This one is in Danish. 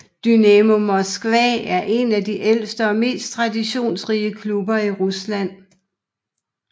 Dynamo Moskva er en af de ældste og mest traditionsrige klubber i Rusland